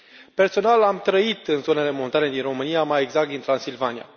Personal, am trăit în zonele montane din România, mai exact din Transilvania.